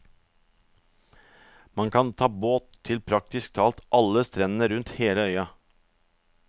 Man kan ta båt til praktisk talt alle strendene rundt hele øya.